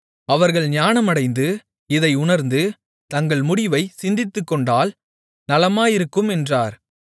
அவர்கள் ஞானமடைந்து இதை உணர்ந்து தங்கள் முடிவைச் சிந்தித்துக்கொண்டால் நலமாயிருக்கும் என்றார்